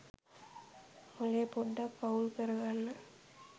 මොලේ පොඩ්ඩක් අවුල් කරගන්න